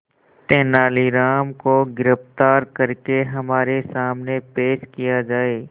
तेनालीराम को गिरफ्तार करके हमारे सामने पेश किया जाए